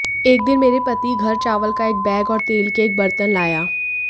एक दिन मेरे पति घर चावल का एक बैग और तेल के एक बर्तन लाया